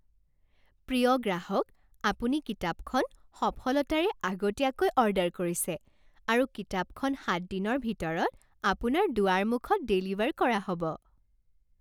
প্ৰিয় গ্ৰাহক! আপুনি কিতাপখন সফলতাৰে আগতীয়াকৈ অৰ্ডাৰ কৰিছে আৰু কিতাপখন সাত দিনৰ ভিতৰত আপোনাৰ দুৱাৰমুখত ডেলিভাৰ কৰা হ'ব।